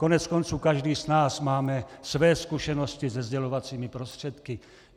Koneckonců každý z nás máme své zkušenosti se sdělovacími prostředky.